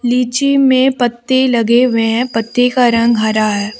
लीची में पत्ते लगे हुए हैं पत्ते का रंग हरा है।